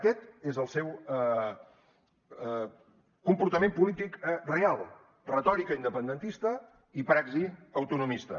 aquest és el seu comportament polític real retòrica independentista i praxi autonomista